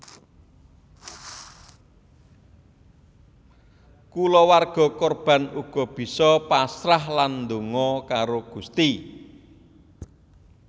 Kulawarga korban uga bisa pasrah lan donga karo Gusti